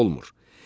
olmur.